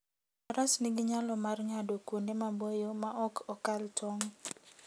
Faras nigi nyalo mar ng'ado kuonde maboyo ma ok okal tong'.